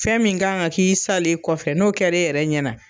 Fɛn min kan ka k'i salen kɔfɛ ,n'o kɛra e yɛrɛ ɲɛ na